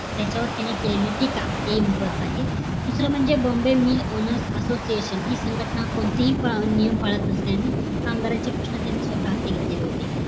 त्याच्यावर तेनी केलेली टीका हे दुसरं म्हणजे BOMBAY mil oWner association हि संघटना हे नियम पळत असल्याने त्यांचे प्रश्न तेनी स्वतः हाती घेतलेली होते